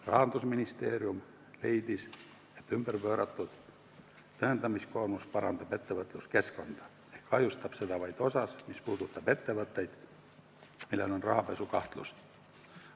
Rahandusministeerium leidis, et pööratud tõendamiskoormus parandab ettevõtluskeskkonda ja kahjustab seda vaid osas, mis puudutab ettevõtteid, millel on rahapesukahtlus.